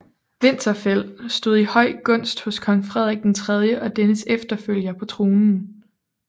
Winterfeld stod i høj gunst hos kong Frederik III og dennes efterfølger på tronen